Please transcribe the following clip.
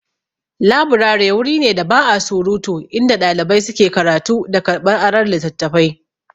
Laburari wuri ne da ba'a surutu, inda ɗalibai suke karatu da karɓar aron littattafai.